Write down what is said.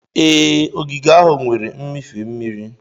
Ee, ogige ahụ nwere mmịfe mmiri.